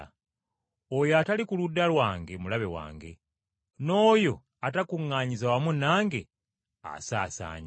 “Oyo atali ku ludda lwange, mulabe wange, n’oyo atakuŋŋaanyiza wamu nange asaasaanya.